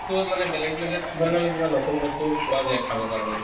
মানে বেলেগ বেলেগ জাগাত কিবা নহʼলে কিবা নতুন বস্তু পোৱা যায় খাব কাৰণে